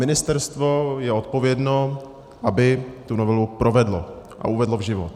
Ministerstvo je odpovědno, aby tu novelu provedlo a uvedlo v život.